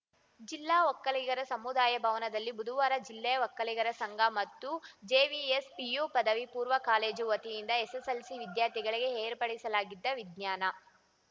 ಜಿಲ್ಲಾ ಒಕ್ಕಲಿಗರ ಸಮುದಾಯ ಭವನದಲ್ಲಿ ಬುಧವಾರ ಜಿಲ್ಲಾ ಒಕ್ಕಲಿಗರ ಸಂಘ ಮತ್ತು ಜೆವಿಎಸ್‌ ಪಿಯು ಪದವಿ ಪೂರ್ವ ಕಾಲೇಜು ವತಿಯಿಂದ ಎಸ್‌ಎಸ್‌ಎಲ್‌ಸಿ ವಿದ್ಯಾರ್ಥಿಗಳಿಗೆ ಏರ್ಪಡಿಸಲಾಗಿದ್ದ ವಿಜ್ಞಾನ